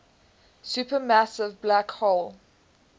supermassive black hole